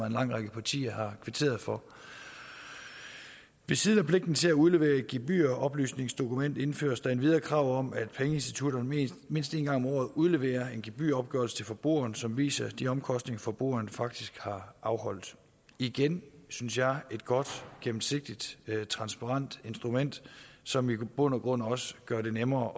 en lang række partier har kvitteret for ved siden af pligten til at udlevere et gebyroplysningsdokument indføres der endvidere krav om at pengeinstitutterne mindst en gang om året udleverer en gebyropgørelse til forbrugeren som viser de omkostninger som forbrugeren faktisk har afholdt igen synes jeg et godt gennemsigtigt transparent instrument som i bund og grund også gør det nemmere